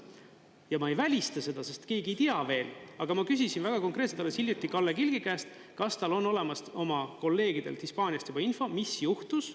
Ja ma ei välista seda, sest keegi ei tea veel, aga ma küsisin väga konkreetselt alles hiljuti Kalle Kilgi käest, kas tal on olemas oma kolleegidelt Hispaaniast juba info, mis juhtus.